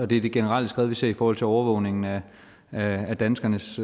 det generelle skred vi ser i forhold til overvågningen af af danskernes